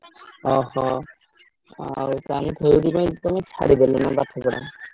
ଅହୋ! ଆଉ ତାହେଲେ ସେଇଥିପାଇଁ ତମେ ଛାଡିଦେଲନା ପାଠପଢା?